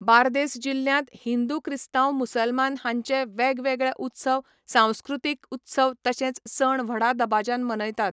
बार्देस जिल्ल्यांत हिंदू क्रिस्ताव मुसलमान हांचे वेगवेगळे उत्सव सांस्कृतीक उत्सव तशेंच सण व्हडा दबाज्यान मनयतात